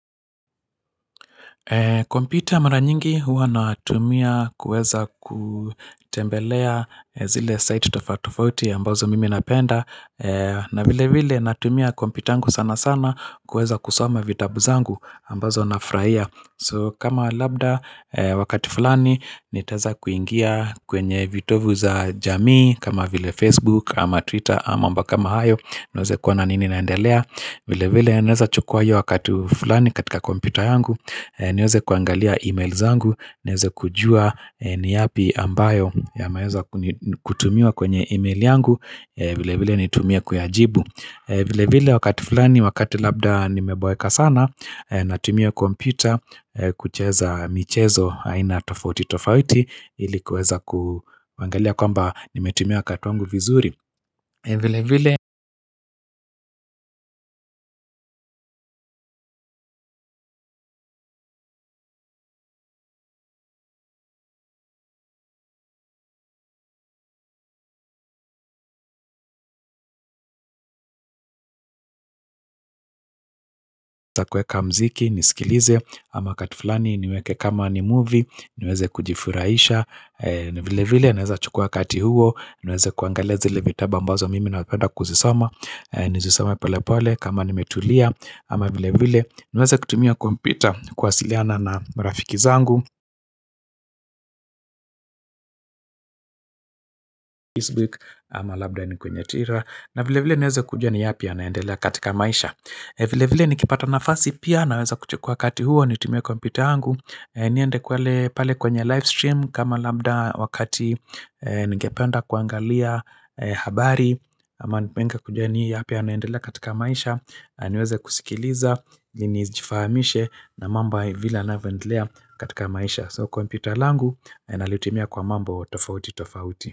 Kompyuta mara nyingi huwa natumia kuweza kutembelea zile site tofatofauti ambazo mimi napenda na vile vile natumia kompyuta yangu sana sana kuweza kusoma vitabu zangu ambazo nafurahia So kama labda wakati fulani nitaweza kuingia kwenye vitovu za jamii kama vile Facebook ama Twitter ama mambo kama hayo niweze kuona nini inaendelea vile vile naweza chukua hiyo wakati fulani katika kompyuta yangu niweze kuangalia emails zangu niweze kujua ni yapi ambayo yameweza kutumiwa kwenye email yangu vile vile nitumie kuyajibu vile vile wakati fulani wakati labda nimeboeka sana Natumia kompyuta kucheza michezo aina tofauti tofauti ili kuweza kuangalia kwamba nimetumia wakati wangu vizuri vile vile niweze kuweka mziki nisikilize ama wakati fulani niweke kama ni movie niweze kujifurahisha. Vile vile naweza chukua wakati huo niweze kuangalia zile vitabu ambazo mimi napenda kuzisoma Nizisome pole pole kama nimetulia ama vile vile niweze kutumia kompyuta kuwasiliana na marafiki zangu Facebook ama labda ni kwenye Twitter na vile vile niweze kujua ni yapi yanaendelea katika maisha vile vile nikipata nafasi pia naweza kuchkua wakati huo nitumie kompyuta yangu niende kwele pale kwenye livestream kama labda wakati nigependa kuangalia habari ama nipende kujua ni yaapi yanaendelea katika maisha naniweza kusikiliza ili nizjifahamishe na mambo vile yanavyoendelea katika maisha So kompyuta langu nalitumia kwa mambo tofauti tofauti.